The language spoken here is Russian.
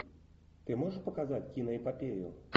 ты можешь показать киноэпопею